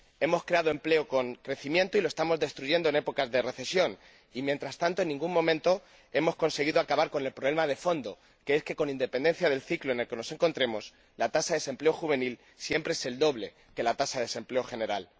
Hemos creado empleo con crecimiento y lo estamos destruyendo en épocas de recesión y, mientras tanto, en ningún momento hemos conseguido acabar con el problema de fondo, que es que, con independencia del ciclo en el que nos encontremos, la tasa de desempleo juvenil siempre es el doble de la tasa de desempleo general